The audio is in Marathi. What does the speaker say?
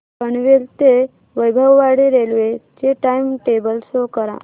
पनवेल ते वैभववाडी रेल्वे चे टाइम टेबल शो करा